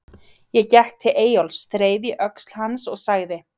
Ég gekk til Eyjólfs, þreif í öxl hans og sagði